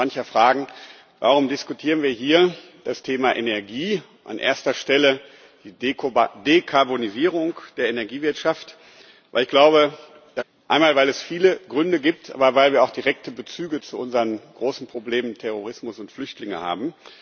Da mag sich mancher fragen, warum wir hier das Thema Energie, an erster Stelle die Dekarbonisierung der Energiewirtschaft, diskutieren. Ich glaube, das ist richtig, einmal, weil es viele Gründe gibt, aber weil wir auch direkte Bezüge zu unseren großen Problemen Terrorismus und Flüchtlinge haben.